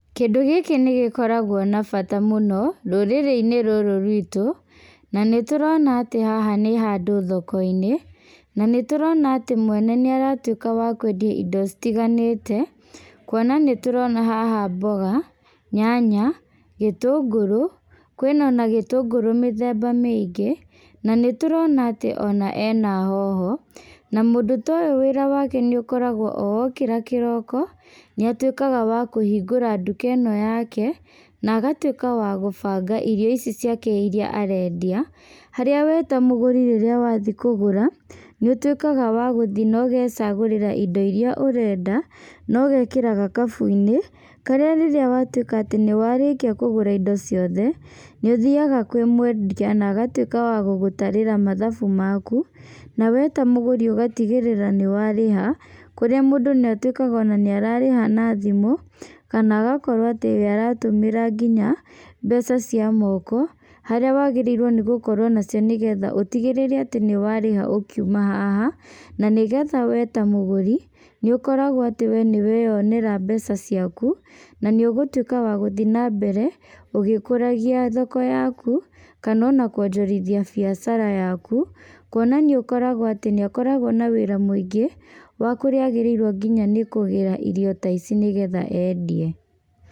Kĩndũ gĩkĩ nĩgĩkoragwo na bata mũno rũrĩrĩ inĩ rũrũ ruitũ na nĩtũrona haha nĩ handũ thoko-inĩ, na nĩtũrona atĩ mwene nĩaratuĩka wa kwendia indo citiganĩte. Kuona nĩtũrona haha mboga, nyanya, gĩtũngũrũ, kwĩna ona gĩtũngũrũ mĩthemba mĩingĩ na nĩtũrona atĩ ona ena hoho, na mũndũ ta ũyũ wĩra wake nĩũkoragwo atĩ o okĩra kĩroko, nĩatuĩkaga wakũhingũra nduka ĩno yake, na agatuĩka wa gũbanga irio ici ciake iria arendia, harĩa we ta mũgũri rĩrĩa wathiĩ kũgũra, nĩũtuĩkaga wa gũthiĩ na ũgecagũrĩra indo iria ũrenda, na ũgekĩra gakabu-inĩ karĩa rĩrĩa watuĩka atĩ nĩwarĩkia kũgũra indo ciothe, nĩũthiaga kwĩ mwendia na agatuĩka wa gũgũtarĩra mathabu maku, na we ta mũgũri ũgatigĩrĩra nĩwarĩha kũrĩa mũndũ ona nĩatuĩkaga ona nĩararĩha na thimũ, kana agakorwo atĩ aratũmĩra nginya mbeca cia moko, harĩa wagĩrĩirwo gũkorwo nacio nĩgetha ũtigĩrĩre atĩ nĩwarĩha ũkiuma haha. Na nĩgetha we ta mũgũri nĩũkoragwo atĩ we nĩweonera mbeca ciaku, na nĩũgũtuĩka wagũthiĩ na mbere ũgĩkũragia thoko yaku, kana ona kwonjorithia biacara yaku. Kuona nĩũkoragwo atĩ nĩakoragwo na wĩra mũingĩ wa kũrĩa agĩrĩirwo nĩkũgĩra irio ta ici nĩgetha endie.